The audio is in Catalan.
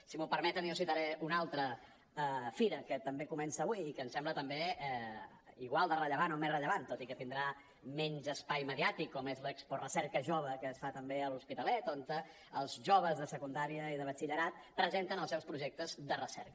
si m’ho permeten jo citaré una altra fira que també comença avui i que em sembla també igual de rellevant o més rellevant tot i que tindrà menys espai mediàtic com és l’exporecerca jove que es fa també a l’hospitalet on els joves de secundària i de batxillerat presenten els seus projectes de recerca